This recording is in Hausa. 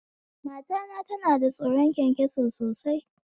Matana tana da tsoron kyankyaso sosai